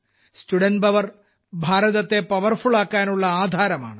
student power ഭാരതത്തിനെ powerful ആക്കാനുള്ള ആധാരമാണ്